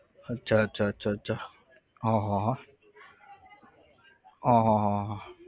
અચ્છા અચ્છા અચ્છા અચ્છા હા હા હા આહ આહ